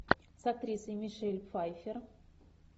с актрисой мишель пфайффер